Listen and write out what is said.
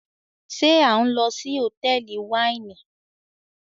ṣe a n lo sí Hotẹẹli Wáìnì